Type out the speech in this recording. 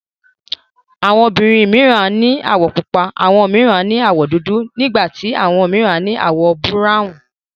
Àwọn obìnrin mìíran ní àwọ̀ pupa, àwọn mìíràn ní àwọ̀ dúdú, nígbà tí àwọn mìíràn ní àwọ̀ búráwùn.